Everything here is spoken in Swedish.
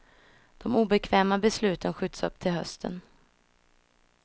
De obekväma besluten skjuts upp till hösten.